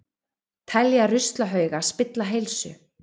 Telja ruslahauga spilla heilsu